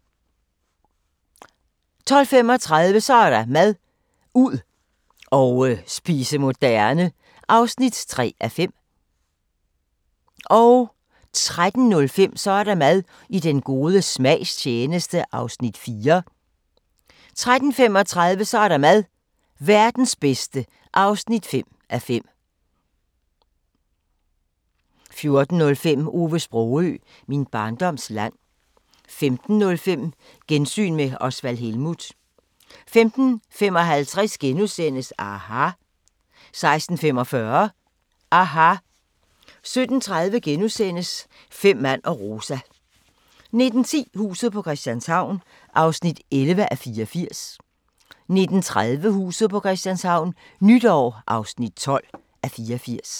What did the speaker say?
12:35: Så er der mad – ud og spise moderne (3:5) 13:05: Så er der mad – I den gode smags tjeneste (4:5) 13:35: Så er der mad – Verdens bedste (5:5) 14:05: Ove Sprogøe – Min barndoms land 15:05: Gensyn med Osvald Helmuth 15:55: aHA! * 16:45: aHA! 17:30: Fem mand og Rosa * 19:10: Huset på Christianshavn (11:84) 19:30: Huset på Christianshavn - nytår (12:84)